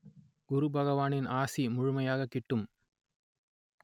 குருபகவானின் ஆசி முழுமையாகக் கிட்டும்